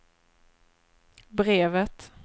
brevet